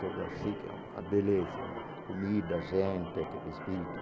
Toda que é uma beleza né, a comida, a gente, aquele espírito.